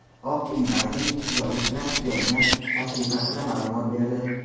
Oq uy Bayden intizorlik bilan kutayotgan tashrif haqida ma’lumot berdi.